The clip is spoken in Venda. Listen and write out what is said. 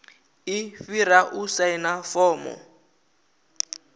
i fhira u saina fomo